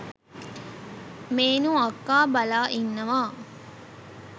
මේනු අක්කා බලා ඉන්නවා